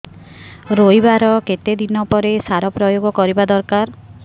ରୋଈବା ର କେତେ ଦିନ ପରେ ସାର ପ୍ରୋୟାଗ କରିବା ଦରକାର